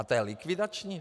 A to je likvidační?